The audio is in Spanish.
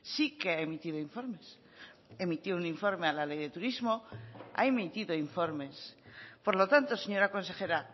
sí que ha emitido informes emitió un informe a la ley de turismo ha emitido informes por lo tanto señora consejera